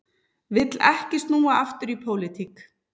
Vill ekki snúa aftur í pólitík